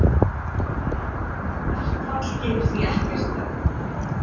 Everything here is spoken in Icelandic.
Verkfall gerir því ekkert gagn